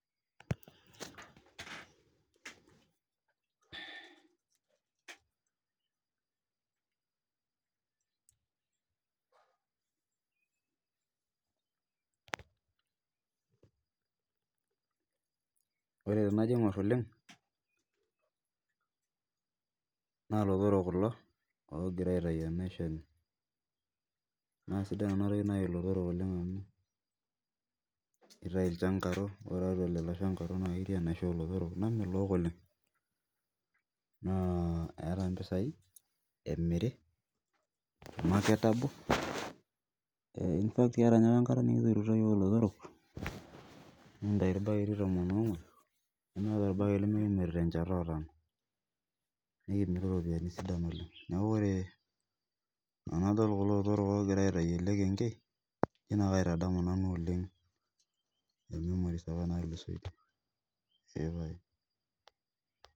ore tenajo Ing'or oleng naa ilotok kulo oogirai aitayu enaisho enye naasidai ena toki naji ilotorok naa keitayu ilchangaro naa esta imbisai emiri keeta apa enkata nikituturo iyiok ilotorok nikintayu irbaketi tumon oong'uan nemeeta orbaket limikimirata enchata otano nikitum iropiyiani sidai oleng neeku tenadol kulo otorok oogira aitayu ele kenkei naa katamu nanu oleng memories apa naatulusoitie eepaye